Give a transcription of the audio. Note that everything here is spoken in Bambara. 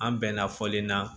An bɛnna fɔlen na